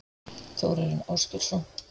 Þórarinn Ásgeirsson?